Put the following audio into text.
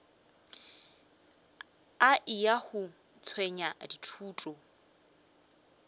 a eya go tšwetša dithuto